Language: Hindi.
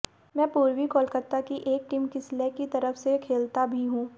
मैं पूर्वी कोलकाता की एक टीम किसलय की तरफ से खेलता भी हूं